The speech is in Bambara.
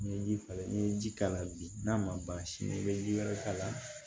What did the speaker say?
N'i ye ji k'a la n'i ye ji k'a la bi n'a ma ban sini i bɛ ji wɛrɛ k'a la